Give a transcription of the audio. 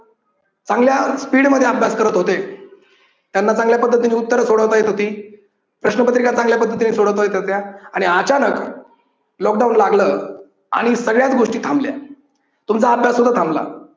चांगल्या स्पीडमध्ये अभ्यास करत होते. त्यांना चांगल्या पद्धतीने उत्तरे सोडवता येत होती, प्रश्नपत्रिका चांगल्या पद्धतीने सोडवता येत होत्या आणि अचानक लॉकडाऊन लागलं आणि सगळ्याच गोष्टी थांबल्या तुमचा अभ्यास सुद्धा थांबला.